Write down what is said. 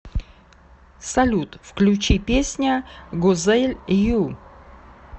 салют включи песня гузель ю